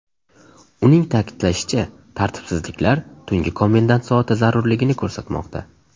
Uning ta’kidlashicha, tartibsizliklar tungi komendant soati zarurligini ko‘rsatmoqda.